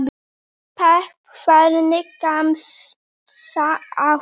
pepp Hvernig gemsa áttu?